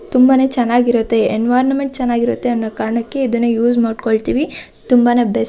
ತುಂಬಾನೆ ಚನ್ನಾಗಿರುತ್ತೆ ಎನ್ವಿರಾನ್ಮೆಂಟ್ ಚನ್ನಾಗಿ ಇರತ್ತೆ ಅನ್ನೊ ಕಾರಣಕ್ಕೆ ಇದನ್ನು ಯೂಸ್ ಮಾಡ್ಕೊಳತ್ತಿವಿ ತುಂಬಾನೇ ಬೆಸ್ಟ್ --